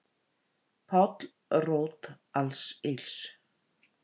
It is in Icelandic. Páll rót alls ills